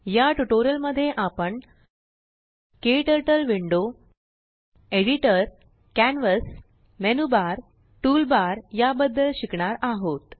याट्यूटोरियल मध्येआपण KTurtle window KTurtle window editor editor canvas canvas menu bar menu bar tool bar tool bar याबद्दल शिकणार आहोत